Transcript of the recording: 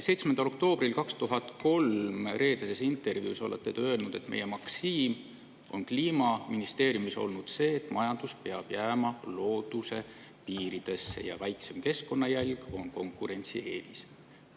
7. oktoobril 2003 "Reedeses intervjuus" olete te öelnud nii: meie maksiim on Kliimaministeeriumis olnud see, et majandus peab jääma looduse piiridesse ja väiksem keskkonnajälg on konkurentsieelis.